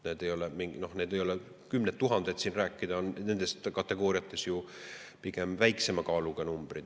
Need ei ole kümned tuhanded, mis on nendest kategooriatest rääkides pigem väiksema kaaluga numbrid.